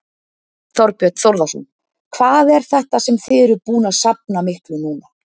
Þorbjörn Þórðarson: Hvað er þetta sem þið eruð búin að safna miklu núna?